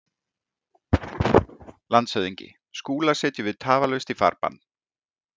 LANDSHÖFÐINGI: Skúla setjum við tafarlaust í farbann.